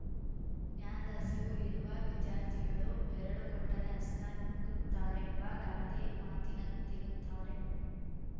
ಜ್ಞಾನದ ಹಸಿವು ಇರುವ ವಿದ್ಯಾರ್ಥಿಗಳು ಬೆರಳು ಕೊಟ್ಟರೆ ಹಸ್ತ ನುಂಗುತ್ತಾರೆಂಬ ಗಾದೆ ಮಾತಿನಂತಿರುತ್ತಾರೆ